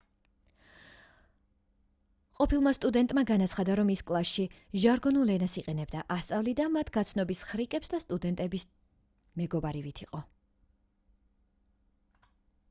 ყოფილმა სტუდენტმა განაცხადა რომ ის კლასში ჟარგონულ ენას იყენებდა ასწავლიდა მათ გაცნობის ხრიკებს და სტუდენტების მეგობარივით იყო